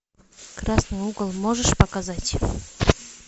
красный угол можешь показать